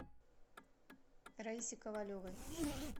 раисе ковалевой